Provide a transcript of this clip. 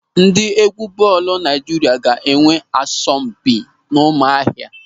Ndị égwú bọọlụ Naịjirịa ga-enwe asọmpi n'Ụ́mụ̀ahịà.